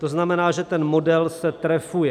To znamená, že ten model se trefuje.